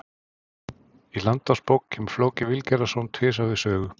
Í Landnámabók kemur Flóki Vilgerðarson tvisvar við sögu.